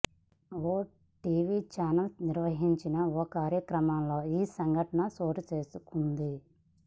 ఓ TV channel నిర్వహించిన ఓ కార్యక్రమంలో ఈ సంఘటన చోటు చేసుకుంది